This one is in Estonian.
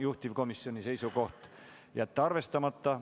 Juhtivkomisjoni seisukoht on jätta see arvestamata.